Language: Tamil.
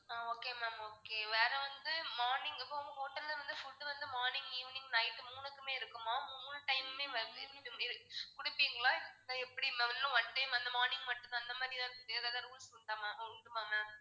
ஆஹ் okay ma'am okay வேற வந்து morning hotel ல்ல வந்து food வந்து morning, evening, night மூணுக்குமே இருக்குமா? மூணு time மே வ~ இ~ இர~ கொடுப்பீங்களா எப்படி ma'am இல்ல one day வந்து morning மட்டும்தான் அந்த மாதிரி எதாவது rules உண்டா ma'am இருக்குமா ma'am